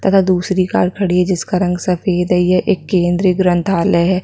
तथा दूसरी कार खड़ी है जिसका रंग सफ़ेद है यह एक केंद्रीय ग्रंथालय है।